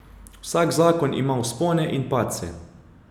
Vsak zakon ima vzpone in padce.